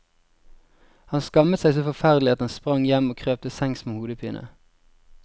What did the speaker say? Han skammet seg så forferdelig at han sprang hjem og krøp til sengs med hodepine.